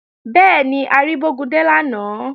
Bẹ́ẹ̀ni, a rí Bógúndé lánàá